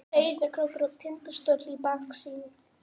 Sauðárkrókur og Tindastóll í baksýn.